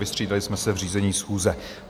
Vystřídali jsme se v řízení schůze.